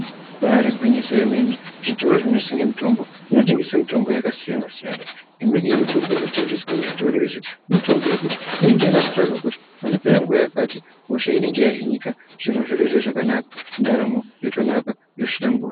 Ibairi gwinyiso yemene zvitoro zvino tengesa mitombo yaka siyana siyana imweni ye mitombo inotengeswa mu zvitoro izvi mitombo yekuti inenga yakato taurwa kuti panopera nguva yakati hosha inenge ya hinika zviro zvotoita zvakanaka ndaramo yotonaka yo hlamburika.